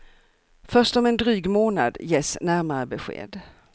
Först om en dryg månad ges närmare besked.